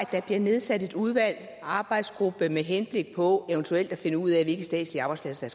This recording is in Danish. der bliver nedsat et udvalg en arbejdsgruppe med henblik på eventuelt at finde ud af hvilke statslige arbejdspladser